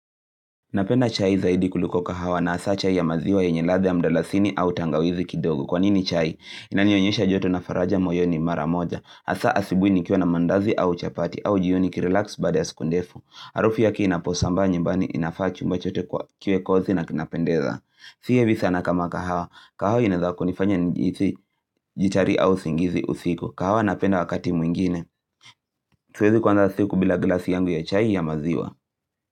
Napenda chai zaidi kuliko kahawa na hasa chai ya maziwa yenye ladha ya mdalasini au tangawizi kidogo. Kwanini chai? Inanionyesha joto na faraja moyo ni mara moja. Hasa asubui nikiwa na mandazi au chapati au jioni niki relax baada ya siku ndefu. Harufu yake inaposambaa nyumbani inafaa chumba chote kuwa kiwe kozi na kinapendeza. Siye visa na kama kahawa. Kahawa inaweza kunifanya nijhisi jittery au usingizi usiku. Kahawa napenda wakati mwingine. Siwezi kuanza siku bila glasi yangu ya chai ya maziwa.